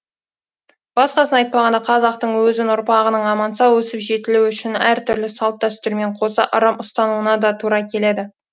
басқасын айтпағанда қазақтың өзін ұрпағының аман сау өсіп жетілуі үшін әртүрлі салт дәстүрмен қоса ырым ұстануына да тура келеді